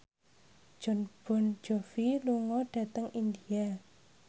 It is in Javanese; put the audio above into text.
Jon Bon Jovi lunga dhateng India